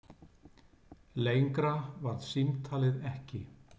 Lengra varð símtalið ekki.